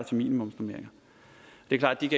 til minimumsnormeringer det er klart at